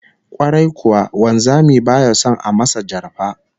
Kwarai kuwa, wanzami baya son a masa jarfa